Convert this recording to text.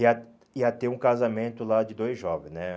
Ia ia ter um casamento lá de dois jovens, né?